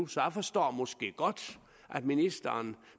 så jeg forstår måske godt at ministeren